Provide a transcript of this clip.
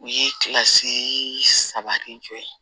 U ye kilasi sabati jɔ yen